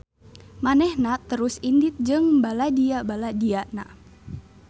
Manehna terus indit jeung baladia-baladiana.